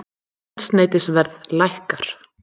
Eldsneytisverð lækkar